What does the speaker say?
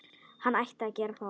Hann ætti að gera það.